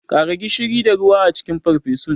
Kara gishiri da ruwa a cikin farfesun.